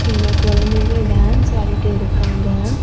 இங்க கொழந்தைங்க டான்ஸ் ஆடிட்டு இருக்காங்க.